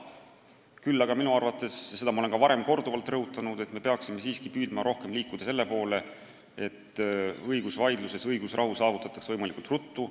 Küll aga minu arvates – seda ma olen ka korduvalt rõhutanud – me peaksime siiski püüdma rohkem liikuda selle poole, et õigusvaidluses saavutatakse õigusrahu võimalikult ruttu.